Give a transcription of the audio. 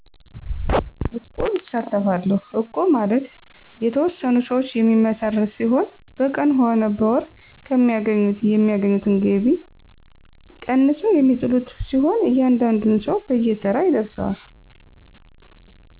እቁብ እሳተፋለሁ እቁብ ማለት የተወሠኑ ሰዎች የሚመሰረት ሲሆን በቀን ሆነ በወር ከሚያገኙት ከሚያገኙት ገቢ ቀንሰው የሚጥሉት ሲሆን እያንዳንዱን ሰው በየተራ ይደርሰዋል